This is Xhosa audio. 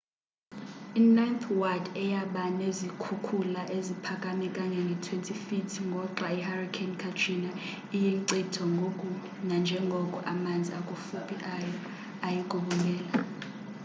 i-ninth ward eyaba nezikhukhula eziphakame kangange-20 feet ngoxa ihurricane katrina iyinkcitho ngoku-najengoko amanzi akufuphi nayo ayigubungela